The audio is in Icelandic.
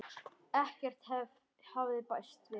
Ekkert hafði bæst við.